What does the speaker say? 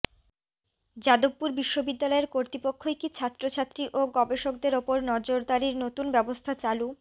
যাদবপুর বিশ্ববিদ্যালয়ের কর্তৃপক্ষই কি ছাত্রছাত্রী ও গবেষকদের ওপর নজরদারির নতুন ব্যবস্থা চালু